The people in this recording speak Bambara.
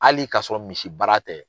Hali ka sɔrɔ misi baara tɛ.